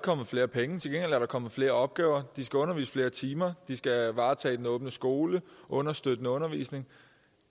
kommet flere penge til gengæld er der kommet flere opgaver de skal undervise i flere timer de skal varetage den åbne skole og understøttende undervisning